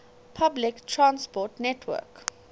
public transport network